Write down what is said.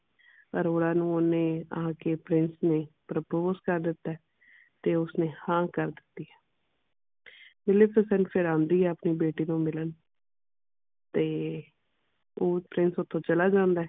ਅਰੋੜਾ ਨੂੰ ਓਹਨੇ ਆ ਕੇ ਫਿਰ ਉਸਨੇ ਕਰ ਦਿੱਤਾ ਹੈ ਤੇ ਉਸਨੇ ਹਾਂ ਕਰ ਦਿੱਤੀ ਹੈ ਫਿਰ ਆਉਂਦੀ ਹੈ ਆਪਣੇ ਬੇਟੀ ਨੂੰ ਮਿਲਣ ਤੇ ਉਹ ਓਥੋਂ ਚਲਾ ਜਾਂਦਾ ਹੈ